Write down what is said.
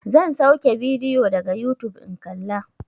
Zan sauke bidiyo daga yutub in kalla.